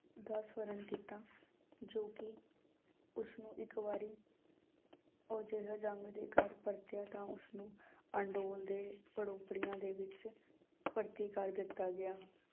ਦਾ ਸਵਰਣ ਕੀਤਾ ਜੋ ਕਿ ਉਸਨੂੰ ਇੱਕ ਵਾਰੀ ਉਹ ਜੰਗ ਦੇ ਘਰ ਪਰਤਿਆ ਤਾਂ ਉਸਨੂੰ ਅਡੋਲ ਦੇ ਦੇ ਵਿੱਚ ਭਰਤੀ ਕਰ ਦਿੱਤਾ ਗਿਆ।